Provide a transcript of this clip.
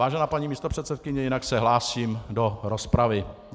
Vážená paní místopředsedkyně, jinak se hlásím do rozpravy.